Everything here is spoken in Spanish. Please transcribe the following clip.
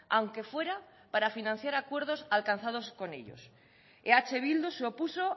aunque fuera para financiar acuerdos alcanzados con ellos eh bildu se opuso